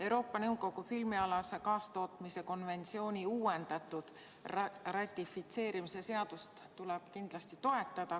Euroopa Nõukogu filmialase kaastootmise uuendatud konventsiooni ratifitseerimise seadust tuleb kindlasti toetada.